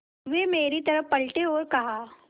वे मेरी तरफ़ पलटे और कहा